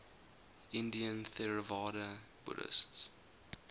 indian theravada buddhists